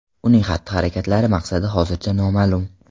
Uning xatti-harakatlari maqsadi hozircha noma’lum.